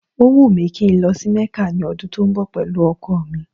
Ó wùn mí kí n lọ sí Mẹ́kà ní ọdún tó ń bọ̀ pẹ̀lú ọkọ̀ mi